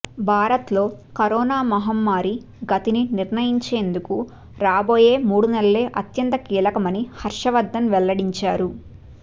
భారత్లో కరోనా మహమ్మారి గతిని నిర్ణయించేందుకు రాబోయే మూడు నెలలే అత్యంత కీలకమని హర్షవర్ధన్ వెల్లడించారు